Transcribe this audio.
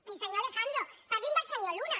i senyor alejandro parli’m del senyor luna